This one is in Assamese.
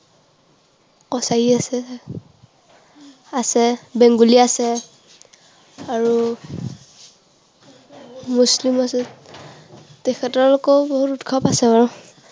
কছাৰী আছে, আছে, বেঙ্গলী আছে, আৰু মুছলিম আছে। তাৰপিছত আকৌ বহুত উৎসৱ আছে ন?